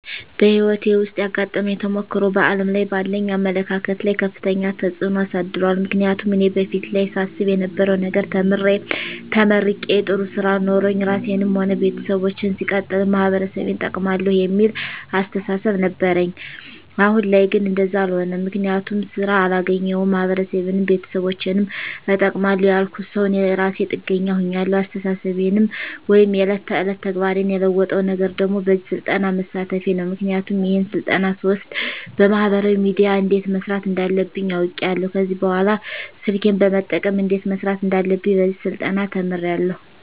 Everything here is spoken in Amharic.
በህይወቴ ዉስጥ ያጋጠመኝ ተሞክሮ በዓለም ላይ ባለኝ አመለካከት ላይ ከፍተኛ ተጽዕኖ አሳድሯል ምክንያቱም እኔ በፊት ላይ ሳስብ የነበረዉ ነገር ተምሬ ተመርቄ ጥሩ ስራ ኖሮኝ ራሴንም ሆነ ቤተሰቦቸን ሲቀጥልም ማህበረሰቤን እጠቅማለዉ የሚል አስተሳሰብ ነበረኝ አሁን ላይ ግን እንደዛ አሎነም ምክንያቱም ስራ አላገኘዉም ማህበረሰቤንም ቤተሰቦቸንም እጠቅማለዉ ያልኩት ሰዉ እኔ እራሴ ጥገኛ ሁኛለዉ አስተሳሰቤን ወይም የዕለት ተዕለት ተግባሬን የለወጠዉ ነገር ደግሞ በዚህ ስልጠና መሳተፌ ነዉ ምክንያቱም ይሄን ስልጠና ስወስድ በማህበራዊ ሚድያ እንዴት መስራት እንዳለብኝ አዉቄያለዉ ከዚህ በኅላ ስልኬን በመጠቀም እንዴት መስራት እንዳለብኝ በዚህ ስልጠና ተምሬያለዉ